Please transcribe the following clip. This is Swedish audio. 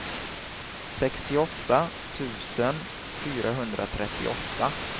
sextioåtta tusen fyrahundratrettioåtta